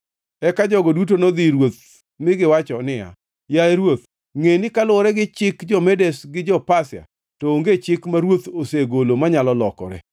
Eka jogo duto nodhi ir ruoth mi giwacho niya, “Yaye ruoth, ngʼe ni kaluwore gi chik jo-Medes gi jo-Pasia, to onge chik ma ruoth osegolo manyalo lokore.”